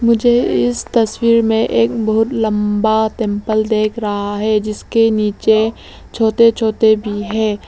मुझे इस तस्वीर में एक बहुत लंबा टेंपल देख रहा है जिसके नीचे छोटे छोटे भी है।